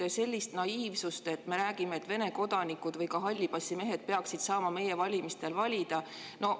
Aga selline naiivsus, et Vene kodanikud või ka hallipassimehed peaksid saama meie valimistel valida!